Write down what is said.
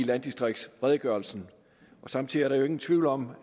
landdistriktsredegørelsen samtidig er der jo ingen tvivl om